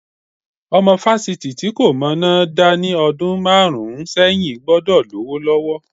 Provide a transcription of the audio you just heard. Ọmọ fásitì tí kò mọná dá ní ọdún márùn-ún sẹ́yìn gbọ́dọ̀ lówó lọ́wọ́.